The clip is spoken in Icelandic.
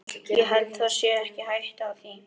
Ég held það sé ekki hætta á því.